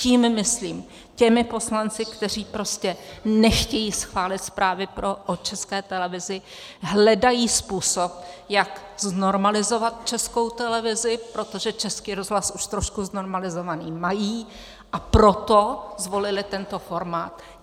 Tím myslím těmi poslanci, kteří prostě nechtějí schválit zprávy o České televizi, hledají způsob, jak znormalizovat Českou televizi, protože Český rozhlas už trošku znormalizovaný mají, a proto zvolili tento formát.